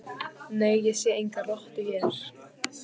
Nei, ég sé enga rottu hér